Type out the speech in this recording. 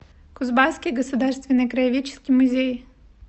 кузбасский государственный краеведческий музей